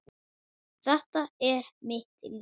Þetta er mitt líf.